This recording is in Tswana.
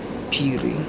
phiri